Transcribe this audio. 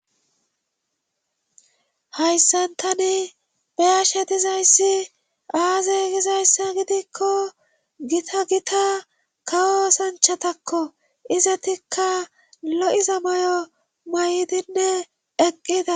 hayssan tani beyashe dizayssi aaze gizayssa gidikko gita gita kawo sanchatakko izatikka lo7iza mayo may7dinne eqqida